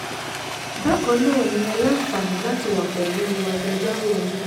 bákan náà ni ẹ́ láǹfààní láti wà pẹ̀lú agbẹjọ́rò yín